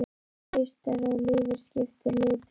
Það haustar að og lífið skiptir litum.